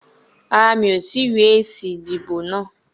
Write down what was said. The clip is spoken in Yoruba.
Rárá, mi ò tí ì rí èsì ìdìbò náà.